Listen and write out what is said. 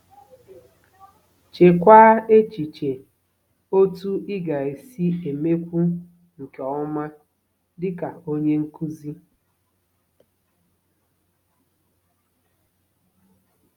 Cheekwa echiche otú ị ga-esi emekwu nke ọma dị ka onye nkụzi!